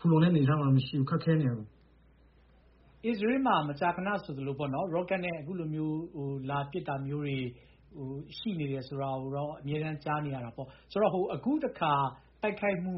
ဖူလုံတဲ့အနေအထားမှာမရှိဘူး။ ခက်ခဲနေတယ်။ ကိုအောင်အောင်။ ။ အစ္စရေးမှာ မကြာခဏဆိုသလို ရော့ကက်နဲ့ အခုလိုမျိုး လာပစ်တာမျိုးတွေ ရှိနေတယ်ဆိုတာမျိုးတွေကတော့ အမြဲတမ်းကြားနေရတာပေါ့။ ဆိုတော့... အခုတခါ တိုက်ခိုက်မှု